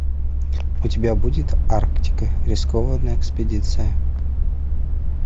у тебя будет арктика рискованная экспедиция